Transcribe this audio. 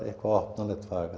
opnanlegt fag